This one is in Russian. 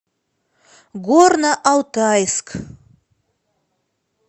горно алтайск